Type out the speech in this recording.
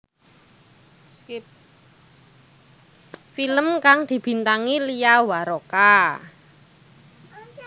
Film kang dibintangi Lia Waroka